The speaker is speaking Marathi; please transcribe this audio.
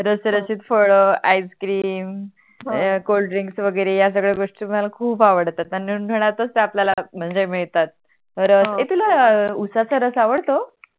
हाय Coldrinks वगेरे हाय सगड्या गोष्टी मला खूप आवडतात आणि मग मानतच ते आपल्या म्हणजे मिडतात रस ये तुला उशाचा रस आवडतो